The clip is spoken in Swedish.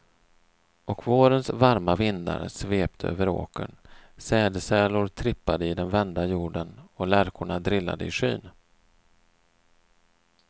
Och vårens varma vindar svepte över åkern, sädesärlor trippade i den vända jorden och lärkorna drillade i skyn.